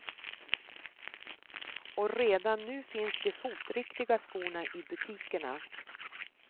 Och redan nu finns de fotriktiga skorna i butikerna.